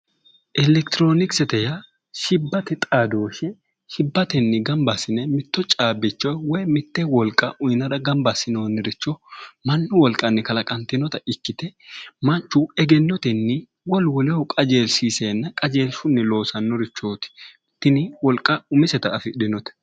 Electronicsete yaa shibbate xaadooshe shibbatenni ganibba asine mitto caabbicho woyi mitte woliqa uyinara ganibba asinooni richo mannu woliqanni kalaqanitinota ikkite manichu egenotenni wolu woleho qajeelishiishena qajeelishunni lossanno richooti tini woliqa umiseta afidhinote